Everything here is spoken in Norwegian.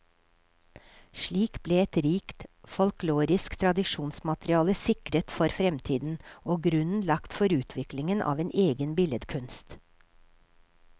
Slik ble et rikt folkloristisk tradisjonsmateriale sikret for fremtiden, og grunnen lagt for utviklingen av en egen billedkunst.